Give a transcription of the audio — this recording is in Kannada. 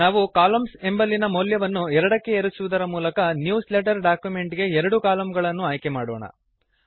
ನಾವು ಕಾಲಮ್ನ್ಸ್ ಎಂಬಲ್ಲಿನ ಮೌಲ್ಯವನ್ನು 2ಕ್ಕೆ ಏರಿಸುವುದರ ಮೂಲಕ ನ್ಯೂಸ್ ಲೆಟರ್ ಡಾಕ್ಯುಮೆಂಟ್ ಗೆ ಎರಡು ಕಲಮ್ಗಳನ್ನು ಆಯ್ಕೆ ಮಾಡೋಣ